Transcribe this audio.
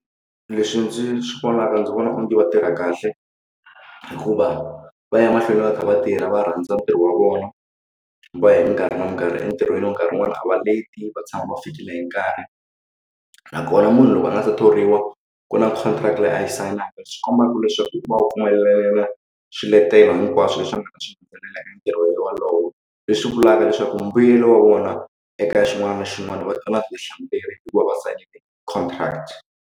Leswi ndzi swi vonaka ndzi vona onge va tirha kahle hikuva va ya mahlweni va kha va tirha va rhandza ntirho wa vona va hi mikarhi na minkarhi entirhweni nkarhi wun'wani a va leti va tshama va fikile hi nkarhi nakona munhu loko a nga se thoriwa ku na contract leyi a yi sayinaka swi kombaku leswaku u va u pfumelela swiletelo hinkwaswo leswi nga ta xi fikelela emitirhweni wolowo leswi vulaka leswaku mbuyelo wa vona eka xin'wana na xin'wana va hikuva va sayine contract.